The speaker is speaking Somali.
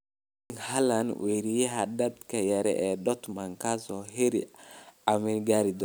Erling Braut Haaland: Weeraryahanka da'da yar ee Dortmund kaas oo heer calami ah gari dono